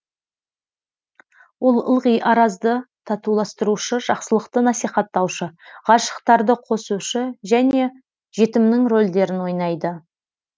ол ылғи аразды татуластырушы жақсылықты насихаттаушы ғашықтарды қосушы және жетімнің рольдерін ойнайды